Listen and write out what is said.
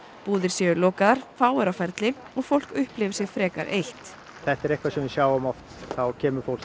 búðir séu lokaðar fáir á ferli og fólk upplifi sig frekar eitt þetta er eitthvað sem við sjáum oft þá kemur fólk